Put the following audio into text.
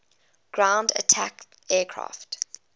ground attack aircraft